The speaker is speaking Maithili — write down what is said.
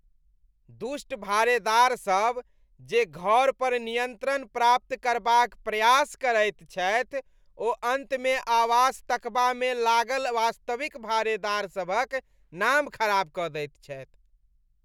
दुष्ट भाड़ेदार सभ जे घर पर नियन्त्रण प्राप्त करबाक प्रयास करैत छथि ओ अन्तमे आवास तकबामे लागल वास्तविक भाड़ेदार सभक नाम खराप कऽ दैत छथि।